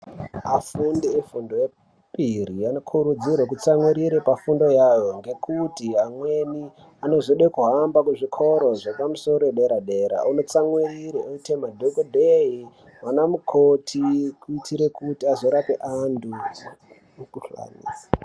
Afundi vefundo yepiri anokurudzirwa kutsamwirira pafundo yavo ngekuti amweni anozoda kuhamba kuzvikora zvepamusoro zvedera-dera unotsamwirira oite madhokodheya ana mukoti kuitira kuti azorapa antu mikuhlani.